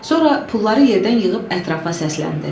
Sonra pulları yerdən yığıb ətrafa səsləndi.